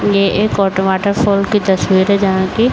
ये एक की तस्वीर है। जहाँ की --